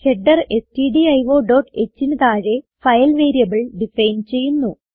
header stdiohന് താഴെ file variable define ചെയ്യുന്നു